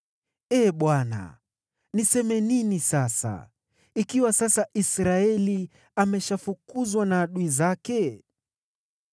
Ee Bwana , niseme nini sasa, ikiwa sasa Israeli ameshafukuzwa na adui zake?